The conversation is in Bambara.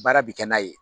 Baara bi kɛ n'a ye